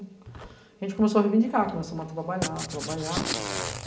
A gente começou a reivindicar, começamos a trabalhar, trabalhar.